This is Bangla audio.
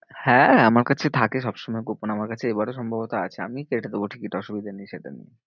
হ্যাঁ আমার কাছে থাকে সবসময় coupon আমার কাছে এবারেও সম্ভবত আছে। আমি কেটে দেব টিকিট অসুবিধা নেই সেটা নিয়ে।